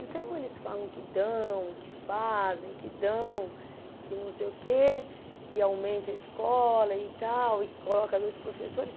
Então, eles falam que dão, que fazem, que dão, e que não sei o quê, e que aumenta a escola e tal, e que coloca dois professores.